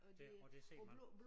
Det og det ser man